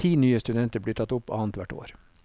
Ti nye studenter blir tatt opp annet hvert år.